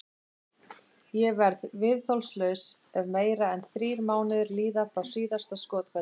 Ég verð viðþolslaus ef meira en þrír mánuðir líða frá síðasta skothvelli.